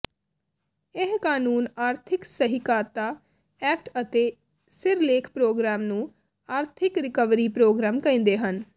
ਇਹ ਕਾਨੂੰਨ ਆਰਥਿਕ ਸਹਿਕਾਰਤਾ ਐਕਟ ਅਤੇ ਸਿਰਲੇਖ ਪ੍ਰੋਗਰਾਮ ਨੂੰ ਆਰਥਿਕ ਰਿਕਵਰੀ ਪ੍ਰੋਗਰਾਮ ਕਹਿੰਦੇ ਹਨ